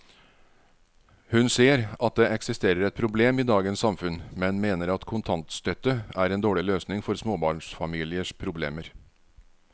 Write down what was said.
Hun ser at det eksisterer et problem i dagens samfunn, men mener at kontantstøtte er en dårlig løsning på småbarnsfamiliers problemer.